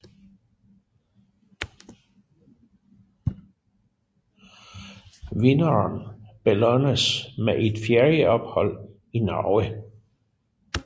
Vinderen belønnes med et ferieophold i Norge